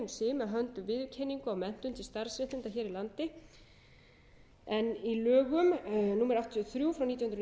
með höndum viðurkenningu á menntun til starfsréttinda hér á landi en í lögum númer áttatíu og þrjú nítján hundruð níutíu og þrjú segir þau